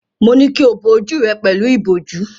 Mo ní kí o bo ojú rẹ pẹ̀lú ìbòjú.